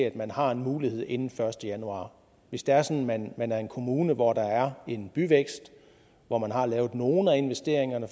at man har en mulighed inden den første januar hvis det er sådan at man er en kommune hvor der er en byvækst hvor man har lavet nogle af investeringerne